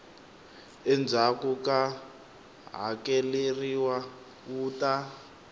endzhaku ku hakeleriwa wu ta